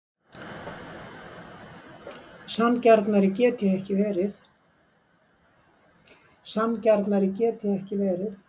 Sanngjarnari get ég ekki verið.